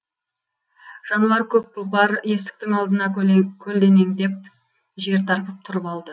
жануар көк тұлпар есіктің алдына көлденеңдеп жер тарпып тұрып алды